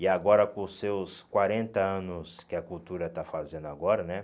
E agora, com seus quarenta anos que a Cultura está fazendo agora, né?